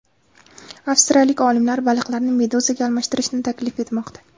Avstraliyalik olimlar baliqlarni meduzaga almashtirishni taklif etmoqda.